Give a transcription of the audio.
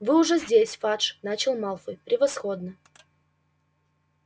вы уже здесь фадж начал малфой превосходно